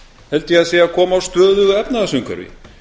held ég að sé að koma á stöðugu efnahagsumhverfi